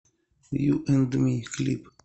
ю энд ми клип